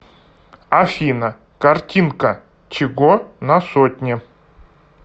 афина картинка чего на сотне